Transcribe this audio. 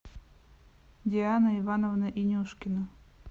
диана ивановна инюшкина